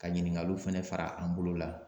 Ka ɲininkaliw fɛnɛ fara an bolo la